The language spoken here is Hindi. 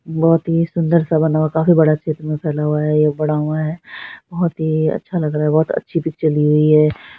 बहुत ही सुन्दर सा बना हुआ है काफी बड़ा क्षेत्र में फैला हुआ है ये बहुत ही अच्छा लग रहा है बहुत अच्छी पिक्चर ली गई है।